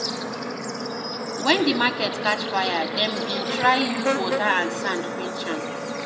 Wen di market catch fire, dem bin try use water and sand quench am.